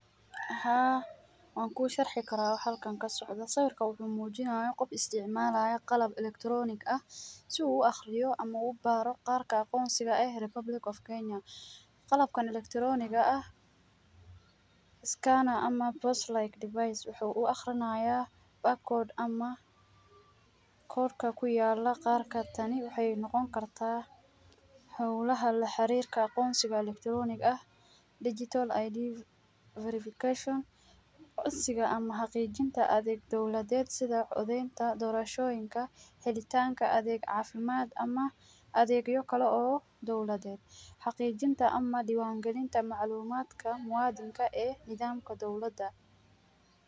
Haa, waan kuu sharxi karaa waxa halkan ka socdo ,sawirka waxuu muujinaaya qof isticmaalaya qalab electronic ah si uu u aqriyo ama u baaro kaarka aqoonsiga eh republic of kenya ,qalabkan elecronic ga ah ,scanner ama post-like device waxuu u aqrinayaa back code ama code ka ku yaala ,qaar ka tani waxeey noqon kartaa howlaha la xariirka aqoonsiga electronic ah ,digital id verification ,codsiga ama xaqiijinta adeeg dowladeed ,sida codeynta doorashooyinka ,helitaanka adeeg cafimaad ama adeegyo kale oo dowladeed ,xaqiijinta ama diiwaan galinta macluumaadka muuwadinka ee nidaamka dowlada .